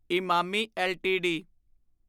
Emami LTD